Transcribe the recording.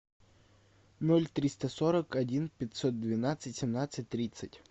ноль триста сорок один пятьсот двенадцать семнадцать тридцать